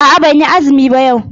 A'a ban yi azumi ba yau.